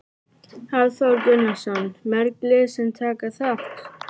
Hafþór Gunnarsson: Mörg lið sem taka þátt?